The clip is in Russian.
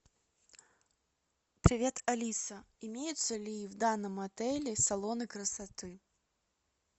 привет алиса имеются ли в данном отеле салоны красоты